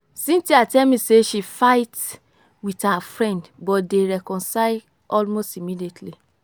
cynthia tell me say she fight with her friend but dey reconcile almost immediately